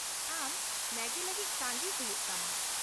ᱟᱢ ᱢᱮᱜᱤ ᱞᱟᱹᱜᱤᱫ ᱛᱟᱺᱜᱤ ᱦᱩᱭᱩᱜ ᱛᱟᱢᱟ ᱾